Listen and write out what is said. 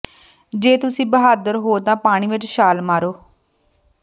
ਜੇ ਤੁਸੀਂ ਬਹਾਦਰ ਹੋ ਤਾਂ ਪਾਣੀ ਵਿਚ ਛਾਲ ਮਾਰੋ